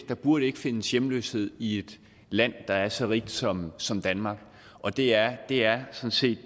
der burde ikke findes hjemløshed i et land der er så rigt som som danmark og det er det er sådan set